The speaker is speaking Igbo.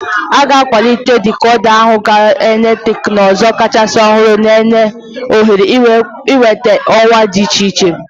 A ga-akwalite dikoda ahụ gaa na teknụzụ kachasị ọhụrụ, na-enye ohere ịnweta ọwa dị iche iche.